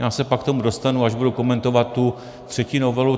Já se pak k tomu dostanu, až budu komentovat tu třetí novelu.